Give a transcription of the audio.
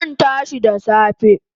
Zan tashi da safe